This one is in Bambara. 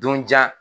Donjan